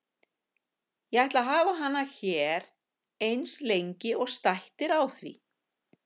Ég ætla að hafa hana hér eins lengi og stætt er á því.